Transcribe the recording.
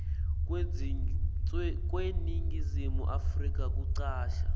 kweningizimu afrika kucasha